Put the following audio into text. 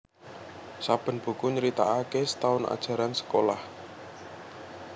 Saben buku nyritakake setaun ajaran sekolah